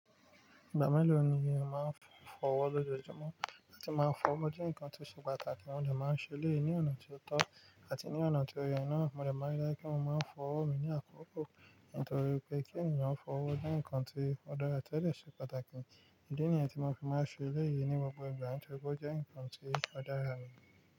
Ìgbà mélo ni eeyan máa ń fọwọ́ lójoojúmọ́, àti máa ń fọwọ́ je ǹkan tó ṣe pàtàkì, mo de máa ń ṣe eléyii ní ọ̀nà ti otọ́ àti ní ọ̀nà tí oye naa Mo dẹ̀ ma ma n je kí mo máa ń fọwọ́ mi ní àkókò, nítorí pé kí ènìyàn fọwọ́ je ǹkan tí ó dára tẹ́lẹ̀ ti o ṣe pàtàkì. Ìdí nìyẹn tí mo fi máa ń ṣe eleyii ní gbogbo ìgbà, nitori pe o je ǹkan tí ó dára ní.